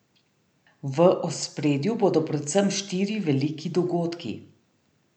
V ospredju bodo predvsem štiri veliki dogodki.